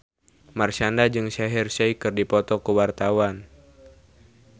Marshanda jeung Shaheer Sheikh keur dipoto ku wartawan